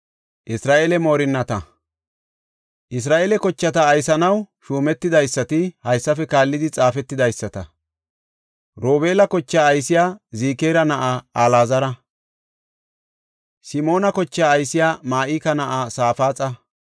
Isra7eele kochata aysanaw shuumetidaysati haysafe kaallidi xaafetidaysata. Robeela kochaa aysey Zikira na7aa Alaazara. Simoona kochaa aysey Ma7ika na7aa Safaaxa.